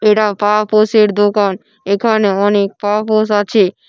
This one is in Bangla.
এটা পা-পোশের দোকান। এখানে অনেক পাপোশ আছে।